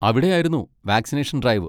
അവിടെയായിരുന്നു vaccination drive.